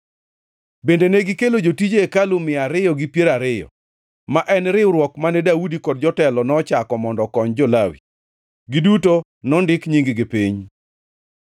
Bende negikelo jotije hekalu mia ariyo gi piero ariyo, ma en riwruok mane Daudi kod jotelo nochako mondo okony jo-Lawi. Giduto nondik nying-gi piny.